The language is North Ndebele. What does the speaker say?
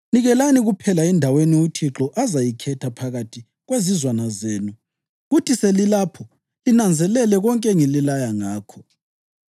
Nikelelani kuphela endaweni uThixo azayikhetha phakathi kwezizwana zenu kuthi selilapho linanzelele konke engililaya ngakho.